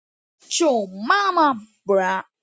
En við ráðum svo fáu.